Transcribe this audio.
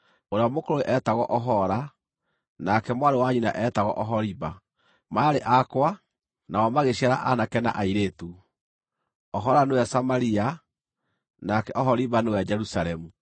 Ũrĩa mũkũrũ eetagwo Ohola, nake mwarĩ wa nyina eetagwo Oholiba. Maarĩ akwa, nao magĩciara aanake na airĩtu. Ohola nĩwe Samaria, nake Oholiba nĩwe Jerusalemu.